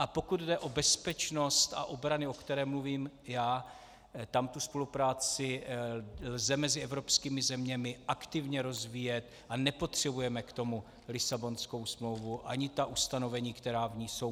A pokud jde o bezpečnost a obranu, o které mluvím já, tam tu spolupráci lze mezi evropskými zeměmi aktivně rozvíjet a nepotřebujeme k tomu Lisabonskou smlouvu ani ta ustanovení, která v ní jsou.